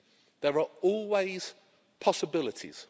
there are always possibilities.